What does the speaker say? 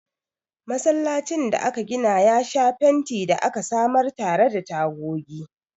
Masallacin da aka gina ya sha fenti da aka samar tare da tagogi.